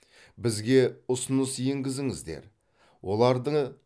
бізге ұсыныс енгізіңіздер оларды